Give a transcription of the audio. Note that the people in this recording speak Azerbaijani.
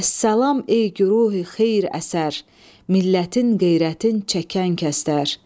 Əssalam ey güruhi xeyr-əsər, millətin, qeyrətin çəkən kəslər!